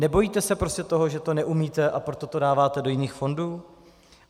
Nebojíte se prostě toho, že to neumíte, a proto to dáváte do jiných fondů?